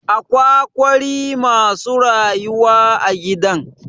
Akwa ƙwari masu rayuwa a gidan.